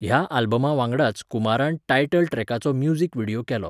ह्या आल्बमा वांगडाच कुमारान टायटल ट्रॅकाचो म्युझिक व्हिडियो केलो.